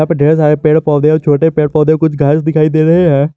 और ढेर सारे पेड़ पौधे और छोटे पेड़ पौधे कुछ घास दिखाई दे रहे है।